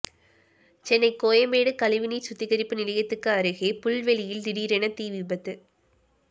சென்னை கோயம்பேடு கழிவுநீர் சுத்திகரிப்பு நிலையத்துக்கு அருகே புல்வெளியில் திடீரென தீ விபத்து